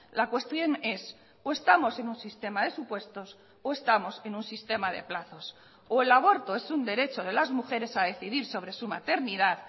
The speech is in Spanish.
la cuestión es o estamos en un sistema de supuestos o estamos en un sistema de plazos o el aborto es un derecho de las mujeres a decidir sobre su maternidad